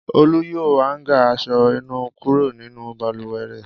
Olú yọ háńgà aṣọ-ìnura kúrò nínú balùwẹ̀ rẹ̀.